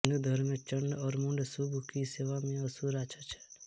हिंदू धर्म में चंड और मुंड शुंभ की सेवा में असुर राक्षस हैं